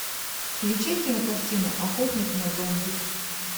включай кинокартину охотник на зомби